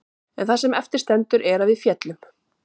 En það sem eftir stendur er að við féllum.